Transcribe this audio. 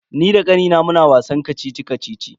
Ni da kannina muna wasan kacici-kacici.